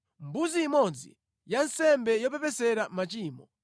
mbuzi imodzi ya nsembe yopepesera machimo;